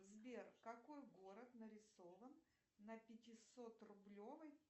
сбер какой город нарисован на пятисот рублевой